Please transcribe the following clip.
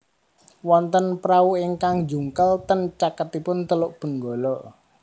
Wonten prauingkang njungkel ten caketipun Teluk Benggala